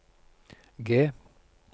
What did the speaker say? G